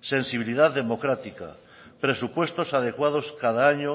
sensibilidad democrática presupuestos adecuados cada año